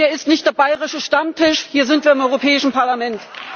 Hier ist nicht der bayerische Stammtisch, hier sind wir im Europäischen Parlament.